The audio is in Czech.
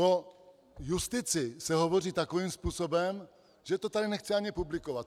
O justici se hovoří takovým způsobem, že to tady nechci ani publikovat.